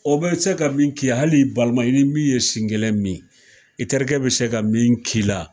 O bɛ se ka min ki ye, hali balima, i ni min ye sin kelen min, i terikɛ bɛ se ka min k'i la